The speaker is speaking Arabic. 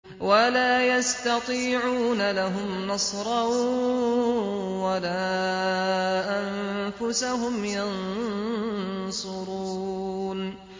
وَلَا يَسْتَطِيعُونَ لَهُمْ نَصْرًا وَلَا أَنفُسَهُمْ يَنصُرُونَ